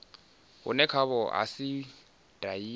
vhune khaho ha si dahiwe